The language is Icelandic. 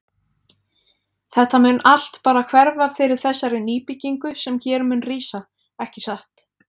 Þetta mun allt bara hverfa fyrir þessari nýbyggingu sem hér mun rísa, ekki satt?